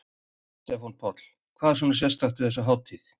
Stefán Páll: Hvað er svona sérstakt við þessa hátíð?